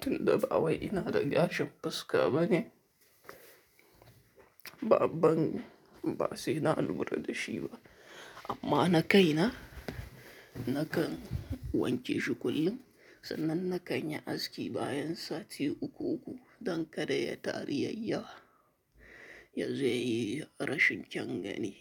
tun da ba wai ina da gashin fuska bane. Baban ba sai na lura da shi ba, amma na kai na, na kan wanke shi kullum. Sannan na kan yi aski bayan sati uku-uku don kada ya taru yayi ya, yawa ya zo ya yi rashin kyan gani.